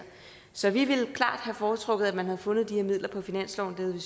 så vi ville klart have foretrukket at man havde fundet de her midler på finansloven